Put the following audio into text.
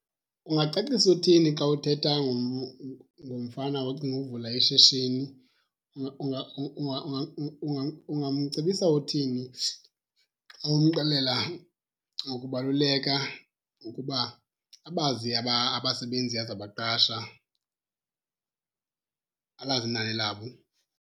Ungacacisa uthini xa uthetha ngomfana ocinga ukuvula ishishini? Ungamcebisa uthini xa umxelela ngokubaluleka ukuba abazi abasebenzi azabaqasha? Alazi inani labo.